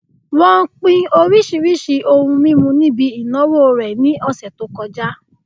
Wón pín oríṣiríṣi ohun mímu níbi ìnáwó rẹ̀ ní ọ̀sẹ̀ tó kọjá